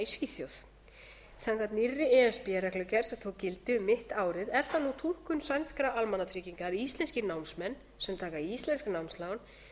í svíþjóð samkvæmt nýrri e s b reglugerð sem tók gildi um mitt árið er það nú túlkun sænskra almannatrygginga að íslenskir námsmenn sem taka íslensk námslán